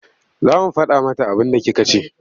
Za mu faɗa mata abinda kika ce.